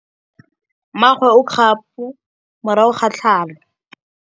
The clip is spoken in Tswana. Mmagwe o kgapô morago ga tlhalô.